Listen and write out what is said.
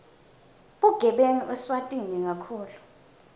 bugebengu eswatini kakhulu